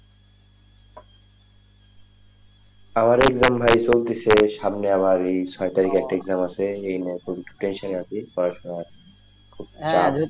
আমার exam ভাই চলতেছে সামনে আবার ছয় তারিখে একটা exam থেকে মাসের এমনে খুব tension এ আছি পড়াশোনা খুব চাপ ,